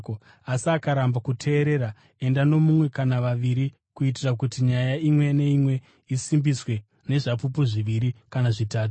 Asi akaramba kuteerera, enda nomumwe kana vaviri kuitira kuti ‘nyaya imwe neimwe isimbiswe nezvapupu zviviri kana zvitatu.’